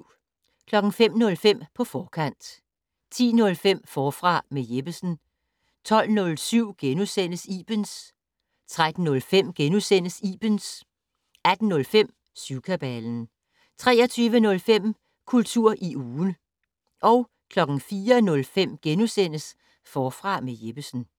05:05: På forkant 10:05: Forfra med Jeppesen 12:07: Ibens * 13:05: Ibens * 18:05: Syvkabalen 23:05: Kultur i ugen 04:05: Forfra med Jeppesen *